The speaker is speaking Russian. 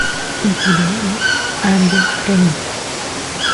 у тебя есть ангел хранитель